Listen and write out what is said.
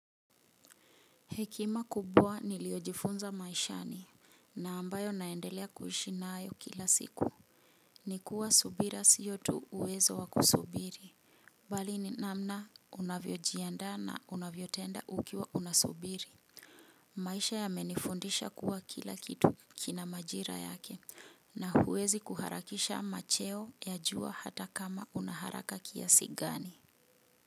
Hekima kubwa niliyojifunza maishani na ambayo naendelea kuishi nayo kila siku. Nikuwa subira sio tu uwezo wa kusubiri. Bali ni namna unavyojiandaa na unavyo tenda ukiwa unasubiri. Maisha yamenifundisha kuwa kila kitu kina majira yake na huwezi kuharakisha macheo ya jua hata kama una haraka kiasi gani.